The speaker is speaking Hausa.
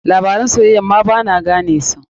Labaran soyayya ma ba na gane musu.